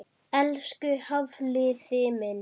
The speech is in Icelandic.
Elsku Hafliði minn.